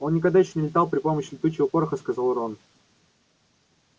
он никогда ещё не летал при помощи летучего пороха сказал рон